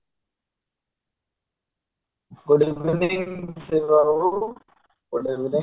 good evening Shiba babu good evening